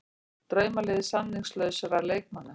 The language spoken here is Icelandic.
Draumalið samningslausra leikmanna